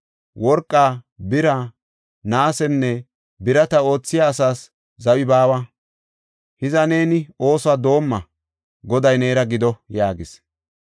Worqa, bira, naasenne birata oothiya asaas zawi baawa. Hiza neeni oosuwa dooma; Goday neera gido” yaagis.